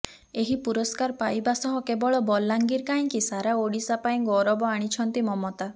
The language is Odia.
ଏହି ପୁରସ୍କାର ପାଇବା ସହ କେବଳ ବଲାଙ୍ଗିର କାହିଁକି ସାରା ଓଡିଶା ପାଇଁ ଗୌରବ ଆଣିଛନ୍ତି ମମତା